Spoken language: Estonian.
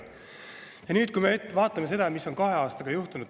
Ja vaatame nüüd seda, mis on kahe aastaga juhtunud.